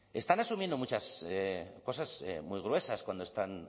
están asumiendo muchas cosas muy gruesas cuando están